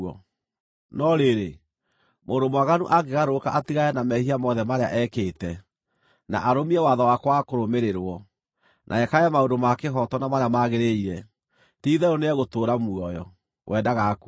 “No rĩrĩ, mũndũ mwaganu angĩgarũrũka atigane na mehia mothe marĩa ekĩte, na arũmie watho wakwa wa kũrũmĩrĩrwo, na ekage maũndũ ma kĩhooto na marĩa magĩrĩire, ti-itherũ nĩegũtũũra muoyo; we ndagakua.